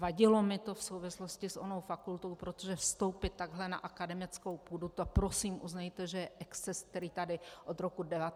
Vadilo mi to v souvislosti s onou fakultou, protože vstoupit takhle na akademickou půdu, to prosím uznejte, že je exces, který tady od roku 1989 nebyl.